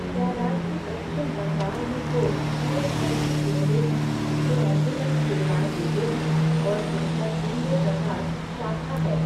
क्या राज्य पश्चिम बंगाल में कोई ईएसआईसी केंद्र हैं जो एंबुलेंस सेवाएँ देते हैं और जिनका केंद्र प्रकार शाखा है?